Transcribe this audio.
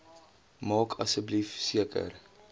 maak asseblief seker